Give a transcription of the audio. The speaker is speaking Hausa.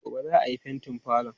Gobe ​​za a yi fentin falon?